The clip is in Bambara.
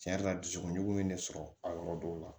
Tiɲɛ yɛrɛ la dusukun ɲugu ye ne sɔrɔ a yɔrɔ dɔw la